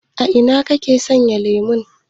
A ina kake sayan lemon?